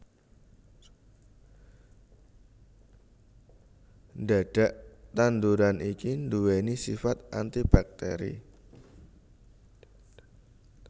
Dhadhak tanduran iki duwéni sifat antibakteri